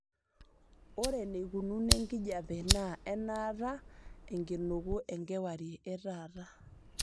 ore eneikununo enkijiape naa enaata enkinuku enkewarie etaata